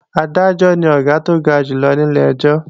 Adájọ́ ni Ọ̀gá tó ga jù lọ ní ilé-ẹjọ́